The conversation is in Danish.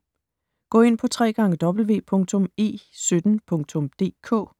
Gå ind på www.e17.dk